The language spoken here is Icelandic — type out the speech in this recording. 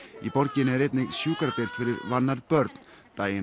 í borginni er einnig sjúkradeild fyrir vannærð börn daginn